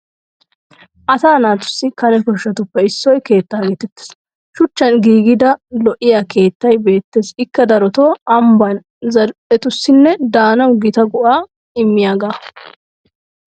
Asa naatussi kane koshshatuppe issoy keettaa geetettes. Shuchchan giigida lo'iya keettay beettes ikka darotoo ambban zal'ettussinne daanawu Gita go'aa immiyagaa.